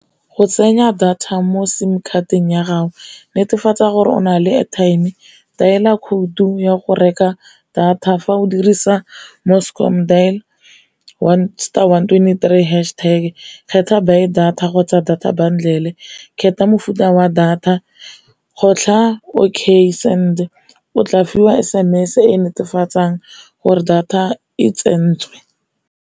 Go tsenya data mo sim card-teng ya gago netefatsa gore o na le airtime, kaela khoutu ya go reka data fa o dirisa dial star one twenty three hash tag, kgetlha buy data kgotsa data bundle, kgetha mofuta wa data, kgotlha okay send o tla fiwa S_M_S e netefatsang gore data e tsentswe.